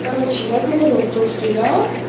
короче я говорю то что я